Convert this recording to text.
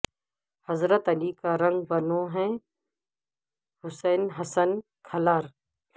حضرت علی کا رنگ بنو ہے حسن حسین کھلار